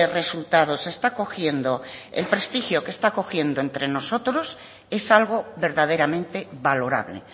resultados está cogiendo el prestigio que está cogiendo entre nosotros es algo verdaderamente valorable